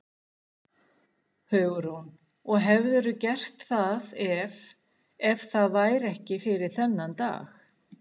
Hugrún: Og hefðirðu gert það ef, ef það væri ekki fyrir þennan dag?